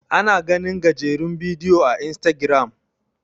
ana ganin gajerun bidiyo a istagiram